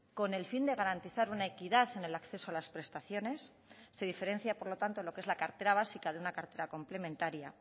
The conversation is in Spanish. con el fin de garantizar una equidad en el acceso a las prestaciones se diferencia por lo tanto lo que es la cartera básica de una cartera complementaria